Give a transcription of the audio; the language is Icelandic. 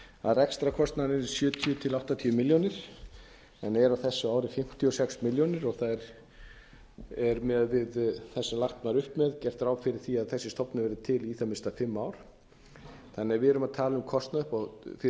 að rekstrarkostnaðurinn yrði sjötíu til áttatíu milljónir en er á þessu ári fimmtíu og sex milljónir og það er miðað við það sem lagt var upp með gert ráð fyrir því að þessi stofnun verði til í í það minnsta fimm ár þannig að við erum að tala um kostnað fyrir ríkissjóð